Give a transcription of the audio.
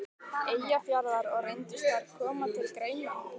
Eyjafjarðar, og reyndust þær koma til greina.